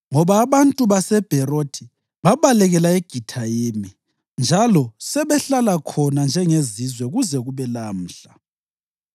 ngoba abantu baseBherothi babalekela eGithayimi njalo sebahlala khona njengezizwe kuze kube lamhla.